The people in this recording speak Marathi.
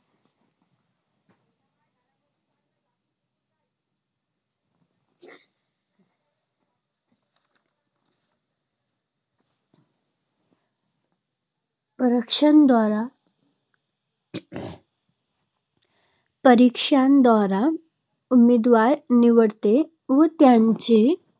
परीक्षांद्वारा परीक्षांद्वारा उमेदवार निवडते व त्यांच्या